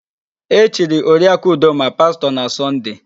E chiri Oriakụ Udoma pastọ na Sọnde.